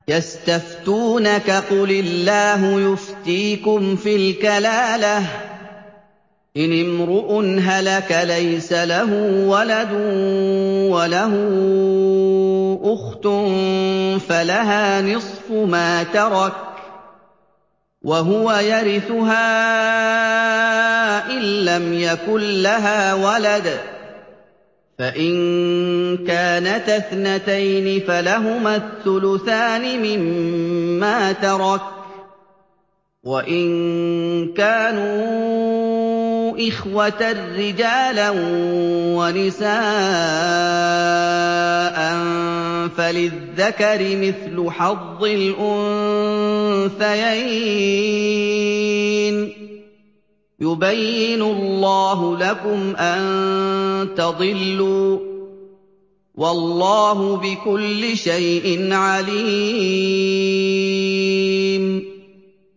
يَسْتَفْتُونَكَ قُلِ اللَّهُ يُفْتِيكُمْ فِي الْكَلَالَةِ ۚ إِنِ امْرُؤٌ هَلَكَ لَيْسَ لَهُ وَلَدٌ وَلَهُ أُخْتٌ فَلَهَا نِصْفُ مَا تَرَكَ ۚ وَهُوَ يَرِثُهَا إِن لَّمْ يَكُن لَّهَا وَلَدٌ ۚ فَإِن كَانَتَا اثْنَتَيْنِ فَلَهُمَا الثُّلُثَانِ مِمَّا تَرَكَ ۚ وَإِن كَانُوا إِخْوَةً رِّجَالًا وَنِسَاءً فَلِلذَّكَرِ مِثْلُ حَظِّ الْأُنثَيَيْنِ ۗ يُبَيِّنُ اللَّهُ لَكُمْ أَن تَضِلُّوا ۗ وَاللَّهُ بِكُلِّ شَيْءٍ عَلِيمٌ